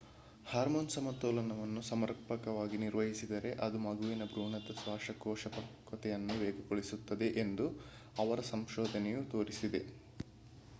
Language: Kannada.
ಹಾರ್ಮೋನ್ ಸಮತೋಲನವನ್ನು ಸಮರ್ಪಕವಾಗಿ ನಿರ್ವಹಿಸಿದರೆ ಅದು ಮಗುವಿನ ಭ್ರೂಣದ ಶ್ವಾಸಕೋಶ ಪಕ್ವತೆಯನ್ನು ವೇಗಗೊಳಿಸುತ್ತದೆ ಎಂದು ಅವರ ಸಂಶೋಧನೆಯು ತೋರಿಸಿದೆ